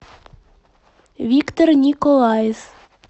виктор николаев